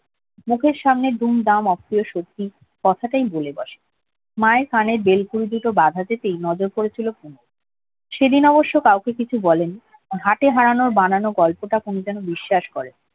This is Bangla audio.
মুখের সামনে দুমদাম সত্যি কথাতেই বলে বসে মায়ের কানের বেল ফুলগুলো সেদিন অবশ্য কাউকে কিছু বলেনি হাটে হারানো বানানোর গল্পটা পুনু যেন বিশ্বাস করেনি